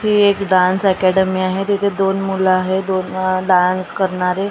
ही एक dance academy आहे. तिथे दोन मुलं आहेत दोन डान्स करणारे.